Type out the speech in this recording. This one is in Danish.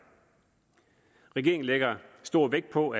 regeringen lægger stor vægt på